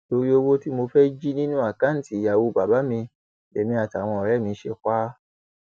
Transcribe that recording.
torí owó tí mo fẹẹ jì nínú àkáùntì ìyàwó bàbá mi lèmi àtàwọn ọrẹ mi ṣe pa á